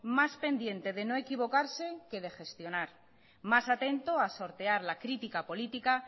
más pendiente de no equivocarse que de gestionar más atento a sortear la crítica política